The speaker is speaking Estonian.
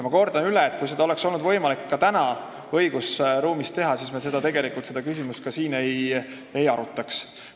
Ma kordan üle, et kui seda oleks olnud võimalik teha tänases õigusruumis, siis me seda küsimust siin ei arutaks.